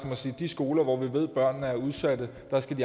om at sige at de skoler hvor vi ved at børnene er udsatte